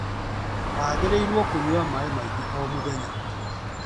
Wagĩrĩirũo kũnyua maaĩ maingĩ o mũthenya.